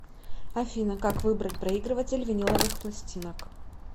афина как выбрать проигрыватель виниловых пластинок